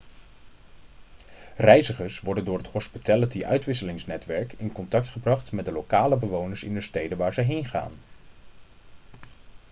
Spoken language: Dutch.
reizigers worden door het hospitality-uitwisselingsnetwerk in contact gebracht met de lokale bewoners in de steden waar ze heen gaan